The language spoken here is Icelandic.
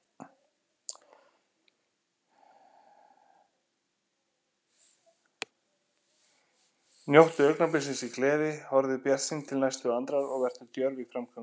Njóttu augnabliksins í gleði, horfðu bjartsýn til næstu andrár og vertu djörf í framgöngu.